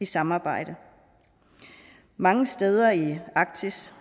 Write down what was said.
samarbejde mange steder i arktis